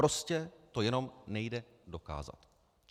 Prostě to jenom nejde dokázat.